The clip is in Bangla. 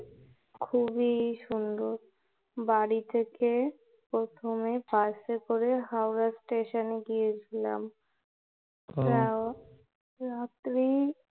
খুবই সুন্দর বাড়ি থেকে বাসে করে প্রথমে হাওড়া স্টেশনে গিয়েছিলাম রাত্রি